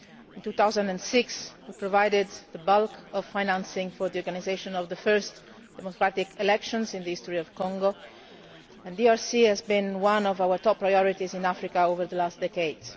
In 2006 it provided the bulk of financing for the organisation of the first democratic elections in the history of Congo and the DRC has been one of our top priorities in Africa over the past decades.